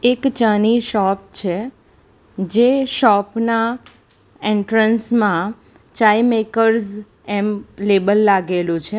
એક ચાની શોપ છે જે શોપ ના એન્ટ્રન્સ માં ચાઈ મેકર્સ એમ લેબલ લાગેલું છે.